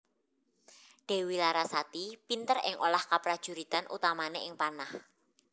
Dewi Larasati pinter ing olah kaprajuritan utamane ing panah